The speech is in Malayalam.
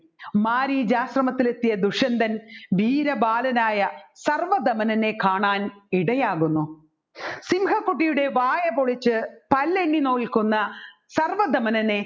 മാരീചാശ്രമത്തിലെത്തിയ ദുഷ്യന്തൻ വീരബാലനായ സർവ്വധമനനെ കാണാൻ ഇടയാകുന്നു സിംഹകുട്ടിയുടെ വായപൊളിച്ച് പല്ല് എണ്ണിനോക്കുക്കുന്ന സർവ്വധമനനെ